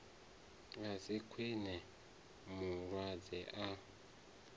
a si kwame mulwadze a